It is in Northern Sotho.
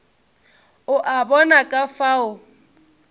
o a bona ka fao